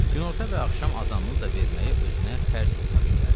Günorta və axşam azanını da verməyi özünə fərz hesab eləyərdi.